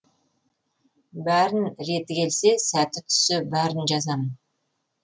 бәрін реті келсе сәті түссе бәрін жазамын